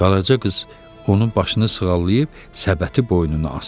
Qaraca qız onun başını sığallayıb səbəti boynuna asdı.